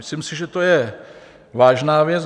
Myslím si, že to je vážná věc.